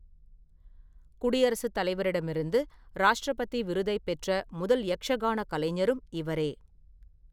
குடியரசுத் தலைவரிடமிருந்து ராஷ்ட்ரபதி விருதைப் பெற்ற முதல் யக்ஷகான கலைஞரும் இவரே.